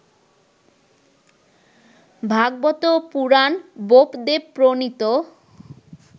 Bhagavata Purana বোপদেবপ্রণীত